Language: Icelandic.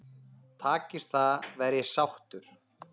Takist það verð ég sáttur.